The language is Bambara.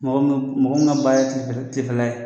Mɔgɔ min ka baara ye tilefɛla ye